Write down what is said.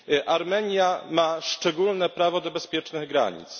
Armenia ma szczególne prawo do bezpiecznych granic.